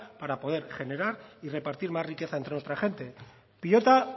para poder generar y repartir más riqueza entre nuestra gente pilota